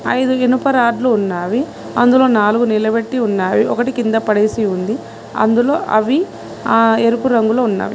ఐదు ఇనుప రాడ్లు ఉన్నావి అందులో నాలుగు నిలబెట్టి ఉన్నావి ఒకటి కింద పడేసి ఉంది అందులో అవి ఆ ఎరుపు రంగులో ఉన్నావి.